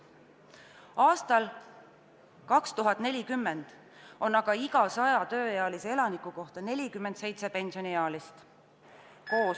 Aastal 2040 on aga iga 100 tööealise inimese kohta 47 pensioniealist.